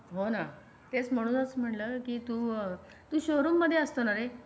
हो ना तेच म्हणूनच म्हणलं की तू शोरूम मध्ये असतो ना रे?